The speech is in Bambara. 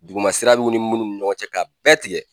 Dugumasira b'i ni munnu ni munnu ni ɲɔgɔn cɛ k'a bɛɛ tigɛ